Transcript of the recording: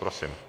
Prosím.